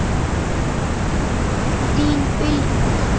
Þín Bylgja.